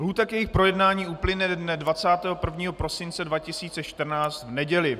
Lhůta k jejich projednání uplyne dne 21. prosince 2014, v neděli.